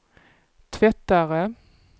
tvättare